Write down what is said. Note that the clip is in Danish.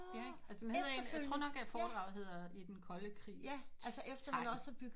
Ja ikk altså den hedder en jeg tror nok foredraget hedder i den kolde krigs t tegn